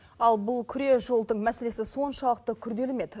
ал бұл күре жолдың мәселесі соншалықты күрделі ме еді